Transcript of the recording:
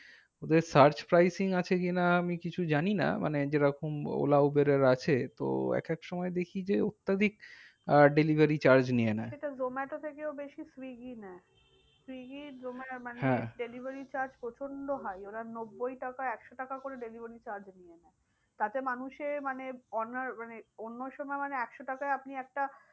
Swiggy মানে হ্যাঁ delivery charge প্রচন্ড high ওরা নব্বই টাকা একশো টাকা করে delivery charge নিয়ে নেয়। তাতে মানুষে মানে owner মানে অন্য সময় মানে একশো টাকায় আপনি একটা